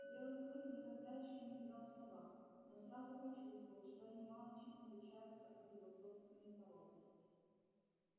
белый клык никогда ещё не видал собак но сразу почувствовал что они мало чем отличаются от его собственной породы